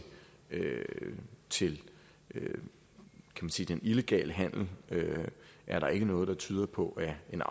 til den illegale handel er der ikke noget der tyder på at en